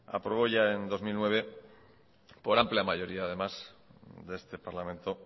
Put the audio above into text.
aprobó ya en dos mil nueve por amplia mayoría además de este parlamento